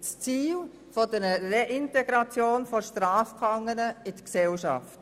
das Ziel der Reintegration von Strafgefangenen in die Gesellschaft.